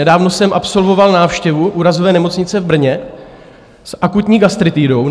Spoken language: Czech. Nedávno jsem absolvoval návštěvu Úrazové nemocnice v Brně s akutní gastritidou.